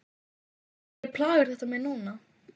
Af hverju plagar þetta mig núna?